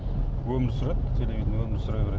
өмір сүреді телевидение өмір сүре береді